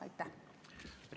Aitäh!